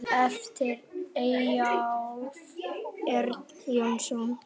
eftir Eyjólf Örn Jónsson